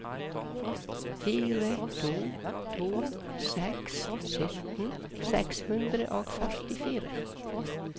fire to to seks sytten seks hundre og førtifire